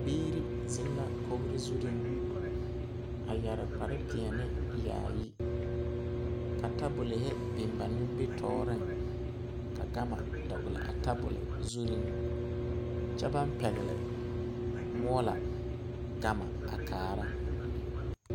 Biiri zeŋ la kori zuri a yɛre kpare. peɛle yaayi ka tabolɔ biŋ ba nimitɔreŋ, ka gama dɔgeli a tabolɔ zuri kyɛ baŋ pɛgele moɔlɔ gama a kaara